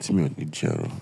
tí mi ò ní jẹ ẹran.